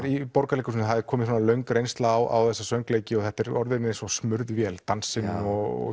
í Borgarleikhúsinu er komin löng reynsla á söngleiki og þetta er orðið eins og vel smurð vél dansinn og